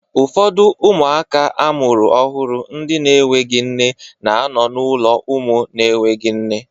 Ụfọdụ ụmụaka amụrụ ọhụrụ ndị na-enweghị nne na-anọ n'ụlọ ụmụ na-enweghị nne